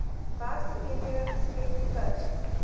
werksgeleenthede geskep per